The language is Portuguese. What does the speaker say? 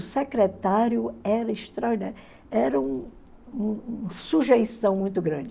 O secretário era extraordinário, era um um sujeição muito grande.